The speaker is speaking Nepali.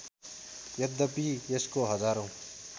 यद्यपि यसको हजारौँ